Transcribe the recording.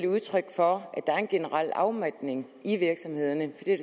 udtryk for at der er en generel afmatning i virksomhederne det er